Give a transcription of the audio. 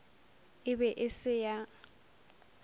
e be e se ya